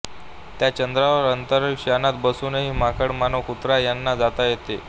त्या चंद्रावर अंतरिक्ष यानात बसूनी माकड मानव कुत्रा यांना जाता येते